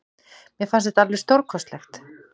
Mér fannst þetta alveg stórkostlegt.